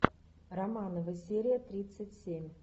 романовы серия тридцать семь